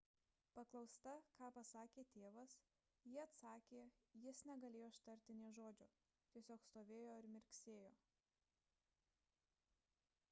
paklausta ką pasakė tėvas ji atsakė jis negalėjo ištarti nė žodžio – tiesiog stovėjo ir mirksėjo